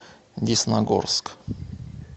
десногорск